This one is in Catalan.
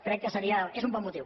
crec que és un bon motiu